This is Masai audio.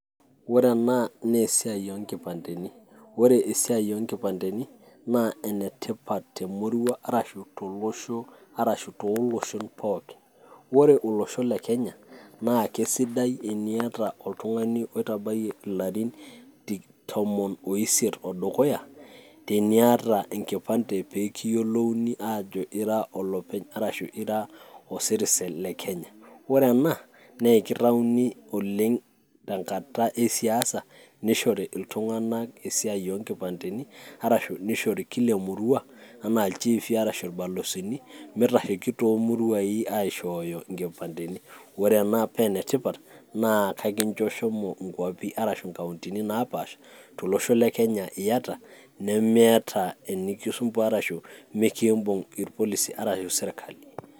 Ore ena naa esiai oonkipandeni, ore esiai oonkipandeni naa enetipat te murua arashu tooloshon pookin. Ore olosho le Kenya naa kesidai teniata oltung'ani oitabayie ilarrin tom oiset odukuya eniata enkipande pee kiyiolouni ajo ira o citizen le Kenya amu ore ena naa kitayuni tenkata esiasa nishore iltung'anak esiai oonkipandeni arashu nishore kila emurua enaa ilchifi arashu ilbalozini mitasheiki toomuruai aishooyo nkipandeni ore ena paa enetipat naa kakincho shomo inkuapi arashu mkauntoni naapaasha tolosho le Kenya nemiata enikisumbuaa ashu mikiimbung' irpolisi arashu sirkali.